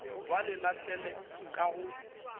ba le lahlele ka go